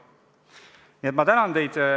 Nii et ma tänan teid.